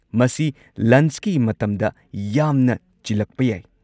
ꯃꯁꯤ ꯂꯟꯆꯀꯤ ꯃꯇꯝꯗ ꯌꯥꯝꯅ ꯆꯤꯜꯂꯛꯄ ꯌꯥꯏ꯫